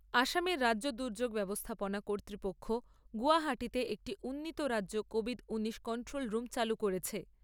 আসামের রাজ্য দুর্যোগ ব্যবস্থাপনা কর্তৃপক্ষ গুয়াহাটিতে একটি উন্নীত রাজ্য কোভিড নাইন্টিন কন্ট্রোল রুম চালু করেছে।